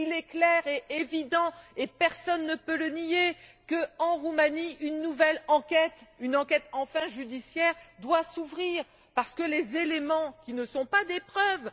Il est clair et évident personne ne peut le nier que, en Roumanie, une nouvelle enquête, une enquête enfin judiciaire doit s'ouvrir, parce que les éléments qui ne sont pas des preuves